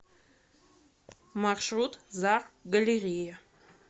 маршрут зар галерея